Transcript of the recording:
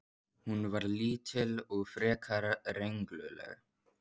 Hún var lítil og frekar rengluleg.